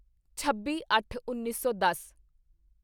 ਛੱਬੀਅੱਠਉੱਨੀ ਸੌ ਦਸ